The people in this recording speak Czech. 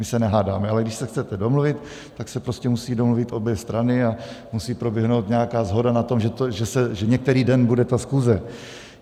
My se nehádáme, ale když se chcete domluvit, tak se prostě musí domluvit obě strany a musí proběhnout nějaká shoda na tom, že některý den bude ta schůze.